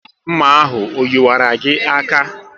Nma ahụ o yiwaru gị aka?